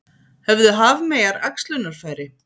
Höfðu hafmeyjar æxlunarfæri?